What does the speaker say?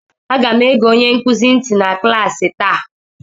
Aga m ege onye nkuzi nti na klaasị taa